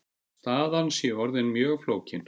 Staðan sé orðin mjög flókin.